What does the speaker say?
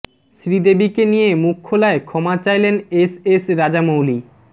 শ্রীদেবীকে নিয়ে মুখ খোলায় ক্ষমা চাইলেন এস এস রাজামৌলি